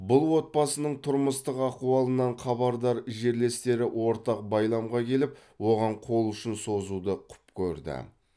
бұл отбасының тұрмыстық ахуалынан хабардар жерлестері ортақ байламға келіп оған қол ұшын созуды құп көрді